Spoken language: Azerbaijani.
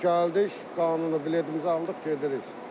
Gəldik, qanunu biletmizi aldıq, gedirik.